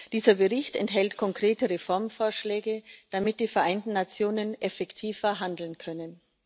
Dieser Bericht enthält konkrete Reformvorschläge, damit die Vereinten Nationen effektiver handeln können.